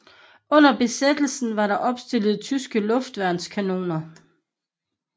Under besættelsen var der opstillet tyske luftværnskanoner